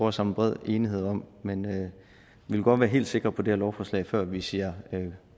at samle bred enighed om men vi vil godt være helt sikre på det her lovforslag før vi siger